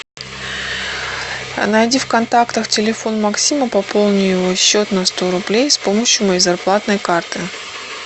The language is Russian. найди в контактах телефон максима пополни его счет на сто рублей с помощью моей зарплатной карты